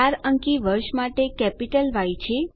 4 અંકી વર્ષ માટે કેપીટલ ય છે